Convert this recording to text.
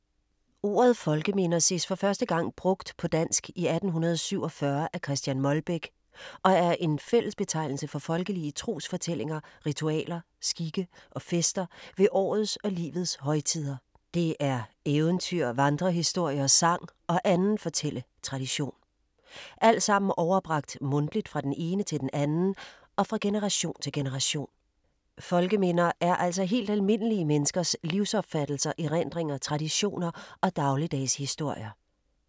Ordet folkeminder ses for første gang brugt på dansk i 1847 af Chr. Molbech og er en fællesbetegnelse for folkelige trosforestillinger, ritualer, skikke og fester ved årets og livets højtider. Det er eventyr, vandrehistorier, sang og anden fortælletradition. Alt sammen overbragt mundtligt fra den ene til den anden og fra generation til generation. Folkeminder er altså helt almindelige menneskers livsopfattelser, erindringer, traditioner og dagligdagshistorier.